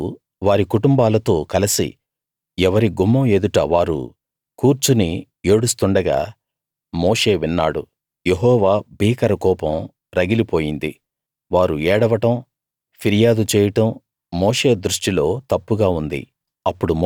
ప్రజలు వారి కుటుంబాలతో కలసి ఎవరి గుమ్మం ఎదుట వారు కూర్చుని ఏడుస్తుండగా మోషే విన్నాడు యెహోవా భీకర కోపం రగిలి పోయింది వారు ఏడవడం ఫిర్యాదు చేయడం మోషే దృష్టిలో తప్పుగా ఉంది